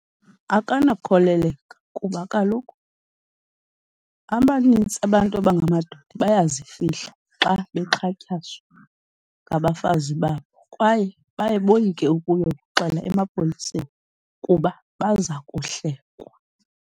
Akanakholeleka kuba kaloku abanintsi abantu abangamadoda bayazifihla xa bexhatshazwa ngabafazi babo, kwaye baye boyike ukuyoxela emapoliseni kuba baza kuhlekwa.